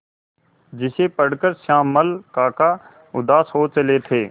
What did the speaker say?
जिसे पढ़कर श्यामल काका उदास हो चले थे